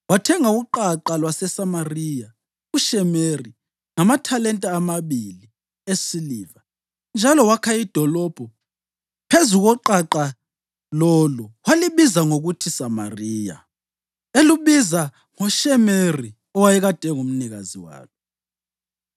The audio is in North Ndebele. Wathenga uqaqa lwaseSamariya kuShemeri ngamathalenta amabili esiliva njalo wakha idolobho phezu koqaqa lolo walibiza ngokuthi Samariya, elubiza ngoShemeri, owayekade engumnikazi walo.